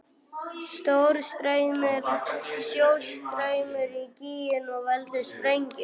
Sjór streymir í gíginn og veldur sprengigosi.